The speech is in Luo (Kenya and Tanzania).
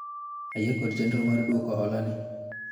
ayie kod chenro mar dwoko hola ni